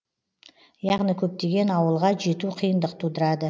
яғни көптеген ауылға жету қиындық тудырады